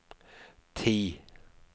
ti